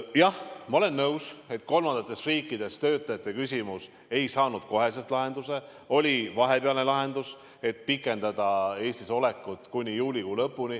Jah, ma olen nõus, et kolmandatest riikidest pärit töötajate küsimus ei saanud kohe lahendust, oli vahepealne lahendus, et pikendada nende Eestis olekut kuni juulikuu lõpuni.